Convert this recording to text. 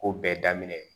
Ko bɛɛ daminɛ